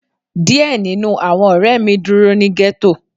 Diẹ ninu awọn ọrẹ mi duro ni ghetto